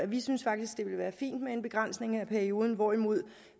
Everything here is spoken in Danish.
vi synes faktisk det ville være fint med en begrænsning af perioden hvorimod